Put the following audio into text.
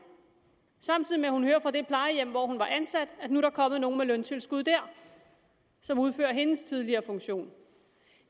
samtidig med at hun hører fra det plejehjem hvor hun var ansat at der nu er kommet nogen med løntilskud der som udfører hendes tidligere funktion